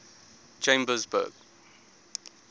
chambersburg